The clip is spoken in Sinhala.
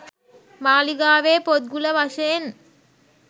මාලිගාවේ පොත්ගුල වශයෙන්